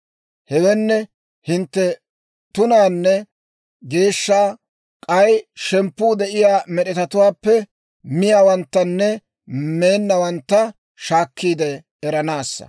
Hewenne hintte tunaanne geeshsha, k'ay shemppuu de'iyaa med'etatuwaappe miyaawanttanne meennawantta shaakkiide eranaassa.› »